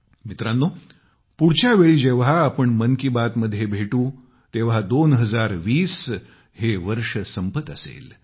मित्रांनो पुढच्या वेळी जेव्हा आपण मन की बात मध्ये भेटू तेव्हा 2020 चे हे वर्ष संपत असेल